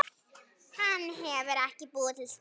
Hann hefur búið til spennu.